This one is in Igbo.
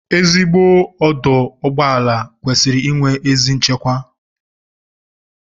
Ezigbo ọdụụgbọala kwesịrị inwe ezi nchekwa